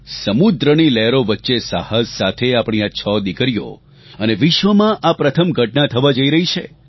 સમુદ્રની લહેરો વચ્ચે સાહસ સાથે આપણી આ છ દિકરીઓ અને વિશ્વમાં આ પ્રથમ ઘટના થવા જઇ રહી છે